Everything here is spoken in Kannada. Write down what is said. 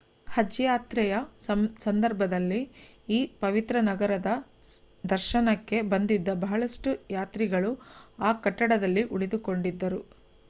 ಹಜ್ ಯಾತ್ರೆಯ ಸಂದರ್ಭದಲ್ಲಿ ಈ ಪವಿತ್ರ ನಗರದ ದರ್ಶನಕ್ಕೆ ಬಂದಿದ್ದ ಬಹಳಷ್ಟು ಯಾತ್ರಿಗಳು ಆ ಕಟ್ಟಡದಲ್ಲಿ ಉಳಿದುಕೊಂಡಿದ್ದರು